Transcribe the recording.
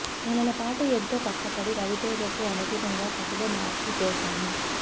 నెలల పాటు ఎంతో కష్టపడి రవితేజకు అనుగుణంగా కథలో మార్పులు చేశాను